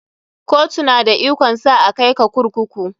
Kotu na da ikon sa a kai ka kurkuku.